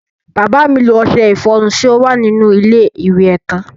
Bàbá mi lo ọṣẹ ìfọrun tí ó wà nínú ilé iwẹ̀ tán.